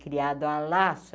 Criado a laço.